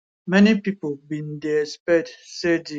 many pipo bin dey expect say di